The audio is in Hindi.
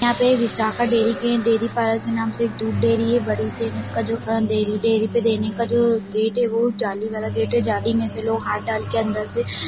यहाँ पे एक विशाखा डेरी के डेरी पार्लर के नाम से एक दूध डेरी है बड़ी -सी इसका जो डेरी-डेरी पे देने का जो गेट है वो जाली वाला गेट हैं जाली में से लोग हाथ डालकर अंदर से-- ।